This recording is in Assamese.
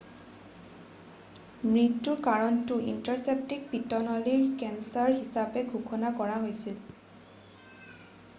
মৃত্যুৰ কাৰণটো ইনট্ৰাহেপ্টিক পিত্তনলী কেঞ্চাৰ হিচাপে ঘোষণা কৰা হৈছিল৷